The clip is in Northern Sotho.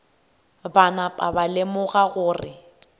ba napa ba lemoga gore